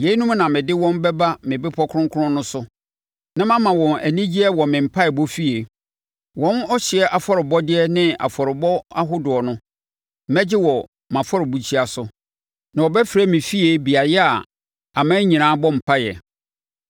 yeinom na mede wɔn bɛba me bepɔ kronkron no so na mama wɔn anigyeɛ wɔ me mpaeɛbɔ efie. Wɔn ɔhyeɛ afɔrebɔdeɛ ne afɔrebɔ ahodoɔ no, mɛgye wɔ mʼafɔrebukyia so; na wɔbɛfrɛ me fie beaeɛ a aman nyinaa bɔ mpaeɛ.”